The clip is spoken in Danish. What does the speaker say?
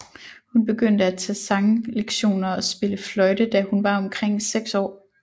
Hun begyndte at tage sanglektioner og spille fløjte da hun var omkring 6 år